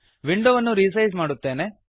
ವಿಂಡೋವನ್ನು ರಿಸೈಸ್ ಮಾಡುತ್ತೇನೆ